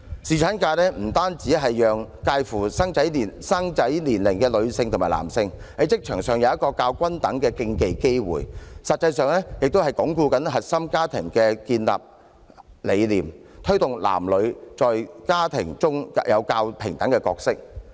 侍產假不單讓介乎於生育年齡的女性和男性，可以在職場上有一個較均等的機會比併，實際上，也可以鞏固核心家庭的建立理念，推動男女在家庭中有較平等的角色。